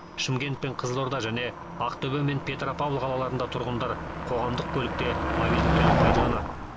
шымкент пен қызылорда және ақтөбе мен петропавл қалаларында тұрғындар қоғамдық көлікте мобильдік төлем пайдаланады